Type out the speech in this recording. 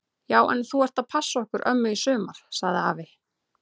Já en þú ert að passa okkur ömmu í sumar! sagði afi.